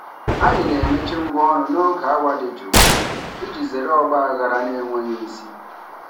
Anyị na-emechi ngwaọrụ n'oge awa dị jụụ iji zere ọgba aghara na-enweghị isi.